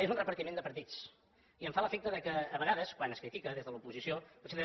és un repartiment de partits i em fa l’efecte que a vegades quan es critica des de l’oposició potser